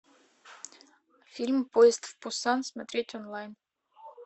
фильм поезд в пусан смотреть онлайн